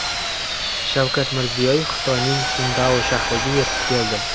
Shavkat Mirziyoyev Xitoyning Sindao shahriga yetib keldi.